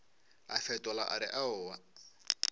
a fetola a re aowa